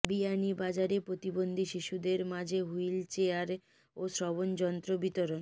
বিয়ানীবাজারে প্রতিবন্ধী শিশুদের মাঝে হুইল চেয়ার ও শ্রবণযন্ত্র বিতরণ